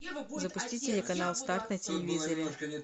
запусти телеканал старт на телевизоре